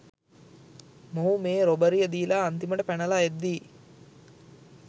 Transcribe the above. මොහු මේ රොබරිය දීලා අන්තිමට පැනලා එද්දි